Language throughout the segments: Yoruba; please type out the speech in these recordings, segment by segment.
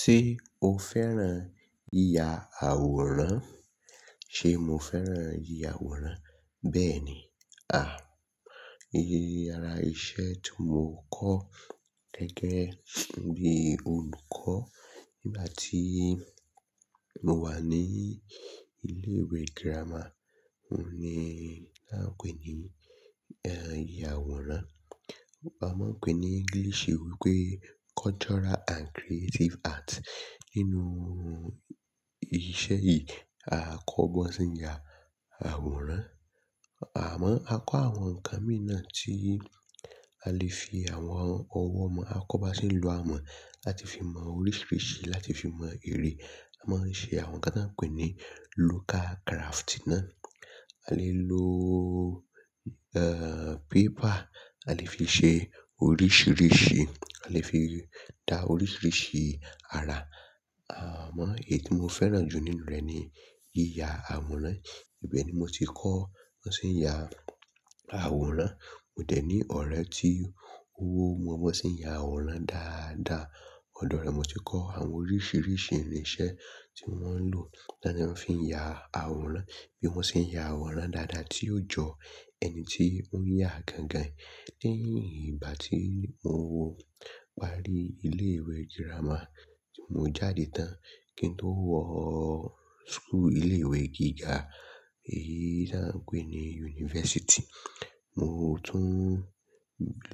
Ṣé o fẹ́ràn yíya àwòrán? Ṣé mo fẹ́ràn yíya àwòrán? Bẹ́ẹ̀ni. Iyèyè ara iṣẹ́ tí mo kọ́ gẹ́gẹ́ bí olùkọ́ nígbà tí mo wà ní ilé ìwé girama, òun ni á n pe ní, yíya àwòrán. A máa n pè ní English wípé Cultural and Creative Art. Nínú iṣẹ́ yìí, a kọ́ bi wón se ń ya àwòrán, àmọ́ a kọ́ àwọn ǹnkan mìí nàa tí a lè fi àwọn ọwọ́ mọ, a kọ́ bá ṣe ń lo ọmọ láti fi mọ oríṣiiríṣii láti fi mọ erè. A máa ń ṣe àwọn nǹkan tań pè ní local craft náà. A lè lo, paper, a lè fi ṣe oríṣiiríṣii, a lè fi dá oríṣiiríṣii ara. Àmọ́ èyí tí mo fẹ́ràn jù nínú rẹ̀ ni yíya àwòrán. Ibẹ̀ ni mo ti kọ́ bi wón ṣe ń ya àwòrán. Mo dẹ̀ ní ọ̀rẹ́ tí ó mọ bi wón ṣe ń ya àwòrán dáadáa. Odò rẹ́ mo ti kọ́ àwọn oríṣiiríṣii irin iṣẹ́ tí mọ́ maa ń lò, ta de maa fi ń ya àwòrán, bí wọ́n ṣe ń ya àwòrán dáadáa tí yóò jọ ẹni tí ó ń yá gan gan. Lẹ́yìn ìgbà tí mo parí ilé ìwé girama, mo jáde tán kí n tó wọ school, ilé ìwé gíga, èyí tí a ń pè ní yunifásítì. Mo tún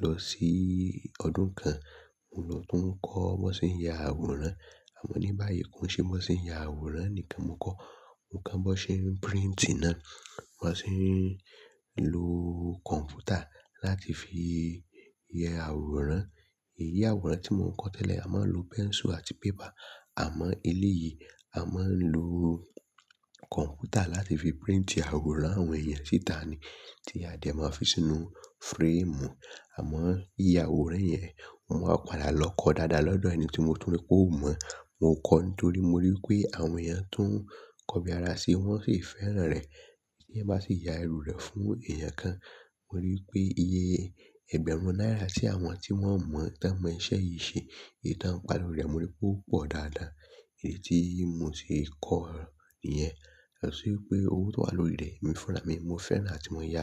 lọ sí ọdún kan, mo lọ tún kọ́ bó ṣe ń ya àwòrán. Àmọ́ ní báyìí kò ṣe bi wón ṣe ń ya àwòrán nìkan mo kọ́, mo ko bi wón ṣe ń printi náà, bi wón ṣe ń lo kọ̀ǹpútà láti fi ya àwòrán. Eyi àwòrán tí mò ń kọ́ tẹ́lẹ̀, a máa ń lo pẹ́nsù àti paper. Àmọ́ elé yìí, a máa ń lo kọ̀ǹpútà láti fi print àwòrán àwọn èèyàn síta ni tí a dẹ̀ máa fi sínú frame. Àmọ́ iyé àwòrán yẹn, mo wá padà lọ kọ dáadáa lọ́dọ̀ ẹni tí mo tún rí pé ò mọ̀. Mo kọ́ nítorí mo rí wipé àwọn èèyàn tun ń kọ bí ara ṣi, wọ́n sì fẹ́ràn rẹ̀. Kí ẹ má sì ya ẹrú rẹ̀ fún èèyàn kan. Mo rí wipé iyé ẹgbẹ̀rún náírà tí àwọn tí wọ́n mọ̀, tan mọ iṣẹ́ yìí ṣe, iye tan ń pa lórí rẹ̀, mo rí pé ó pọ̀ dáadáa. Èyí tí mo ti kọ́ iyẹ́n. Lọ sí wipé owó tó wà lórí rẹ̀, èmi fúnra mi. Mo fẹ́ràn àti mo ya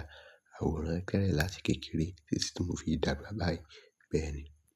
àwòrán kerẹ̀ láti kékeré títí tí mo fi dàgbà báyìí. Bẹ́ẹ̀ ni.